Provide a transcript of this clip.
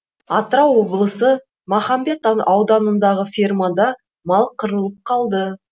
атырау облысы махамбет ауданындағы фермада мал қырылып қалды